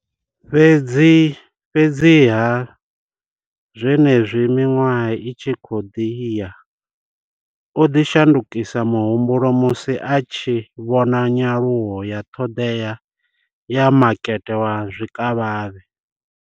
Fhedziha, zwenezwi miṅwaha i tshi khou ḓi ya, o ḓo shandukisa muhumbulo musi a tshi vhona nyaluwo ya ṱhoḓea ya makete wa zwikavhavhe.